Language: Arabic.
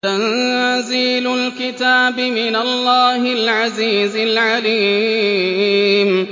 تَنزِيلُ الْكِتَابِ مِنَ اللَّهِ الْعَزِيزِ الْعَلِيمِ